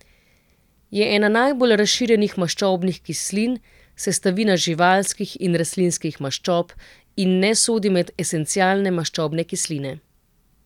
Je ena najbolj razširjenih maščobnih kislin, sestavina živalskih in rastlinskih maščob in ne sodi med esencialne maščobne kisline.